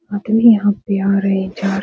आदमी यहाँ पे आ रहे हैं जा रहे --